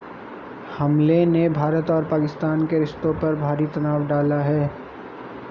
हमले ने भारत और पाकिस्तान के रिश्तों पर भारी तनाव डाला है